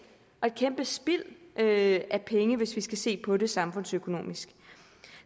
og et kæmpe spild af penge hvis vi skal se på det samfundsøkonomisk